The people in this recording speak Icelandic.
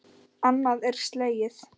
Annað er slegið.